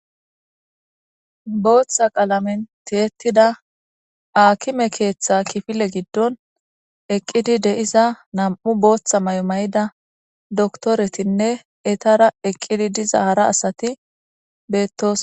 booththa qalamen teetida aakime keeththa kifile giddon eqqidi deiza nam7u booththa may7omay7ida doktoretinne etara eqqidi diza hara asati beettoos